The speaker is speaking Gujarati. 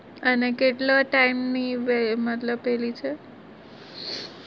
અને કેટલો time ની મતલબ પેલી છે?